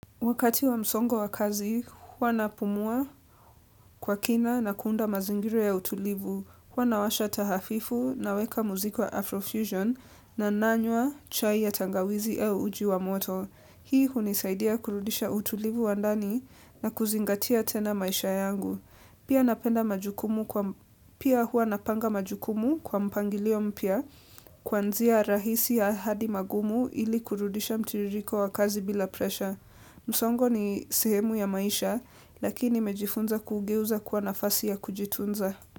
Wakati wa msongo wa kazi, hua napumua kwa kina na kuunda mazingira ya utulivu. Hua nawasha tahafifu naweka muziko wa Afrofusion na nanywa chai ya tangawizi au uji wa moto. Hii hunisaidia kurudisha utulivu wa ndani na kuzingatia tena maisha yangu. Pia huwa napanga majukumu kwa mpangilio mpya kuanzia rahisi ya hadi magumu ili kurudisha mtiririko wa kazi bila presha. Msongo ni sehemu ya maisha lakini nimejifunza kugeuza kuwa nafasi ya kujitunza.